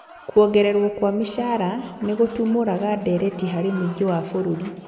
Kuongererwo kwa mĩcara nĩgũtumũraga ndereti harĩ mũingĩ wa bũrũri